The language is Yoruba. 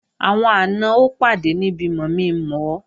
Àwọn àna ó pàdé níbi mọ̀mi-mọ̀ ọ